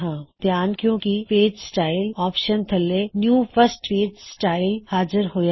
ਧਿਆਨ ਦਿੳ ਕੀ ਪੇਜ ਸਟਾਇਲ ਆਪਸ਼ਨ ਥੱਲੇ ਨਿਊ ਫਸਟ ਪੇਜ ਸਟਾਇਲ ਹਾਜ਼ਰ ਹੋਇਆ ਹੈ